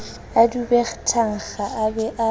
dube thankga a be a